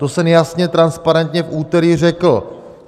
To jsem jasně, transparentně v úterý řekl.